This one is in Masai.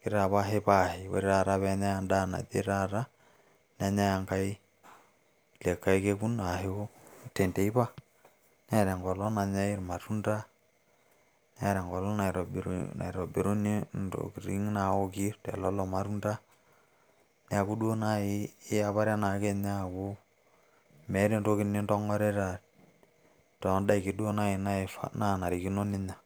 kitapashipaashi, ore taata pee enyai en`daa naje taata, nenyai enkai lido likae kekun ashu tenteipa. Neeta enkolong nanyai ilmatunda, neeta enkolong naitobiruni intokiting naoki te lelo matunda. Niaku duo naaji iyapare ake aaku meeta entoki nintong`orita too n`daikin naaji naanarikino ninyia.